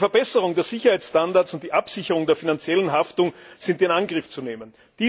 Eine Verbesserung der Sicherheitsstandards und die Absicherung der finanziellen Haftung sind in Angriff zu nehmen.